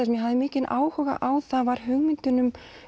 sem ég hafði áhuga á var hugmyndin